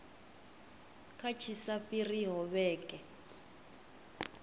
kha tshi sa fhiriho vhege